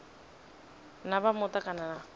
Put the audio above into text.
na vha muta kana na